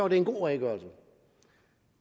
en god redegørelse